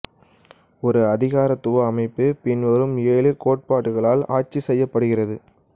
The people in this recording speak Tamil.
ஒரு அதிகாரத்துவ அமைப்பு பின்வரும் ஏழு கோட்பாடுகளால் ஆட்சி செய்யப்படுகிறது